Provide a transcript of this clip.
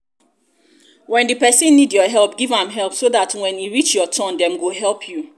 when di person need your help give am help so dat when e reach your turn dem go help you